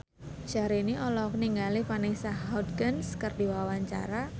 Syahrini olohok ningali Vanessa Hudgens keur diwawancara